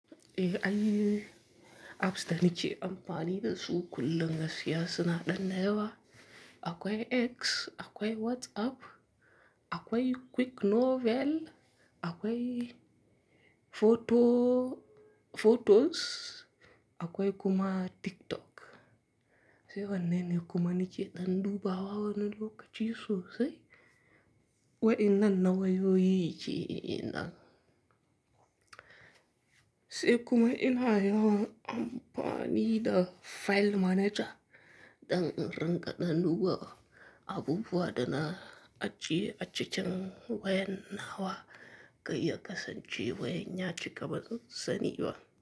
Eh ai, apps da nike amfani da su kullum ga siya su na ɗan dayawa. Akwai X, akwai WhatsApp, akwai Quick Novel, akwai photos, akwai kuma TikTok. Sai wannan ne kuma nake ɗan duba wa wannan lokaci sosai. Wa'inan na wayoyi ke'inan. Sai kuma ina yawan amfani da File Manager, ɗan inringa ɗan duba abubuwa da na ajiye achikin wayan nawa, kai ya kasance wayan ya chike kaban sani ba.